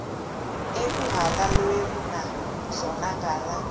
ekuhhalelwana zona ngala